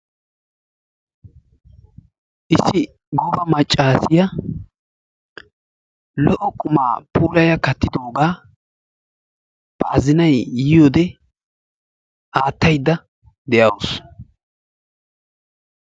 Issi gooba maccaasiya lo''o qumaa puulaya kattidoogaa ba azinay yiyode attaydda de'awusu.